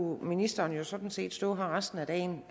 ministeren jo sådan set stå her resten af dagen